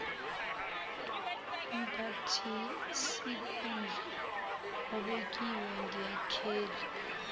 umphathisikhundla obekiwe ngekheli